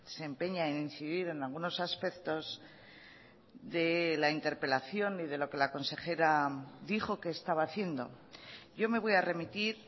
se empeña en incidir en algunos aspectos de la interpelación y de lo que la consejera dijo que estaba haciendo yo me voy a remitir